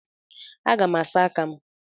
Aga m asa aka m.